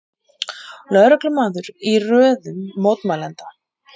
Lögreglumaður í röðum mótmælenda